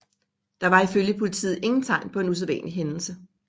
Der var ifølge politiet ingen tegn på en usædvanlig hændelse